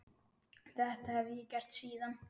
Þetta hef ég gert síðan.